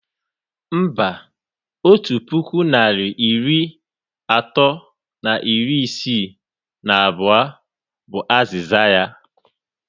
Mba, otu puku narị iri atọ na iri isii na abụọ bu azịza ya